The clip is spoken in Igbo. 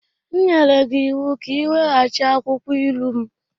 M nyere gị ịwụ ka i weghachi akwukwọ ilu m!